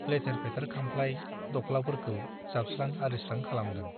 लेथेर - फेथेर खामफ्लाइ- दख्लाफोरखौ जाबस्रां - आरिस्रां खालामदों ।